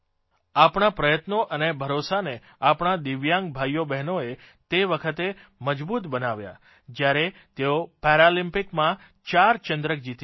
આપણા પ્રયત્નો અને ભરોસાને આપણા દિવ્યાંગ ભાઇઓબ્હેનોએ તે વખતે મજબૂત બનાવ્યા જ્યારે તેઓ પેરાલ્મિપિકસમાં ચાર ચંદ્રક જીતીને લાવ્યા